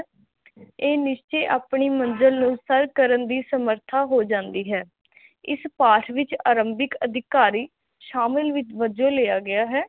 ਇਹ ਨਿਹਚੇ ਆਪਣੀ ਮੰਜਿਲ ਨੂੰ ਸਰ ਕਰਨ ਦੀ ਸਮਰਥਾ ਹੋ ਜਾਂਦੀ ਹੈ ਇਸ ਪਾਠ ਵਿਚ ਆਰੰਬਿਕ ਅਧਿਕਾਰੀ ਸ਼ਾਮਿਲ ਵਿਚ ਵਜੋ ਲਿਆ ਗਿਆ ਹੈ